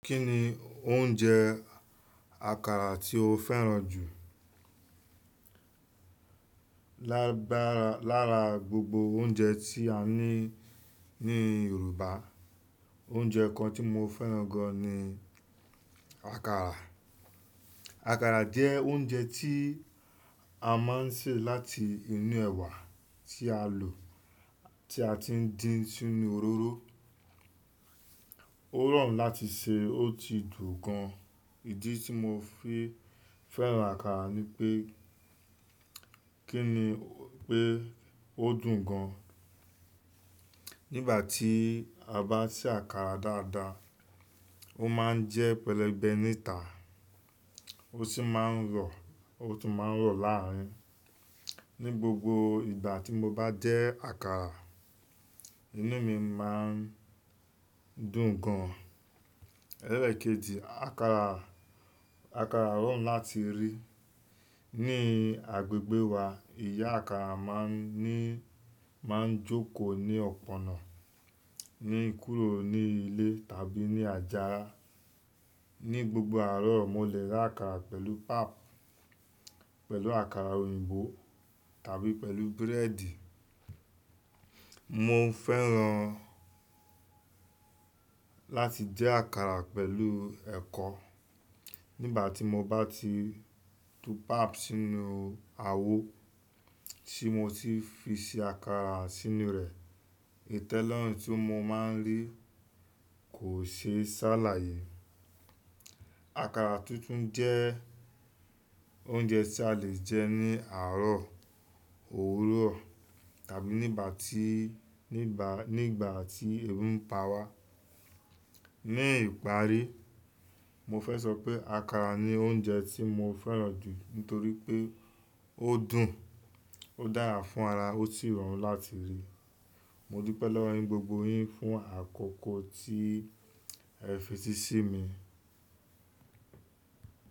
Kí ni oúnjẹ àkàrà tí o fẹ́ràn jù? Lára, lára gbogbo oúnjẹ tí a ní ní Yoruba, oúnjẹ kan tí mo fẹ́ràn gan ni àkàrà. Àkàrà jẹ́ oúnjẹ tí a máa ń sè láti inú ẹ̀wà tí a lò, tí a ti ń dín sínú òróró. Ó rọrùn láti sè, ó sì dùn gan. Ìdí tí mo fi fẹ́ràn àkàrà ni pé, kí ni pé ó dùn gan. Nígbà tí a bá sè àkàrà dáadáa, ó máa ń jẹ́ pẹlẹbẹ níta, ó sì máa ń rọ, ó tún máa ń rọ láàrín. Ni gbogbo ìgbà tí mo bá jẹ àkàrà, inú mi máa ń dùn gan. Elékèjì, àkàrà, àkàrà rọrùn láti rí. Ni agbègbè wa, ìyá àkàrà máa ń ní, máa ń jókòó ní ọ̀pọ̀ ọ̀nà, ní kúrò ní ilé tàbí ní àjà. Ni gbogbo àárọ̀, mo le ra àkàrà pẹ̀lú pap, pẹ̀lú àkàrà òyìnbó tàbí pẹ̀lú búrẹ́dì. Mo ń fẹ́ràn láti jẹ àkàrà pẹ̀lú ẹ̀kọ. Nígbà tí mo bá ti tú pap sínú awo, tí mo sì fi ṣe àkàrà sínú rẹ̀, ìtẹ́lọ́rùn tí mo máa ń rí kò ṣe sé ṣàlàyé. Àkàrà tútùn jẹ́ oúnjẹ tí a le jẹ ní àárọ̀, òwúrọ̀ tàbí nígbà tí, nígbà, nígbà tí ebi ń pa wá. Ní ìparí, mo fẹ́ sọ pé àkàrà ni oúnjẹ tí mo fẹ́ràn jù nítorí pé ó dùn, ó dára fún ara, ó sì rọrùn láti rí. Mo dúpẹ́ lọ́wọ́ yín gbogbo yín fún àkókò tí ẹ fi eti sí mi.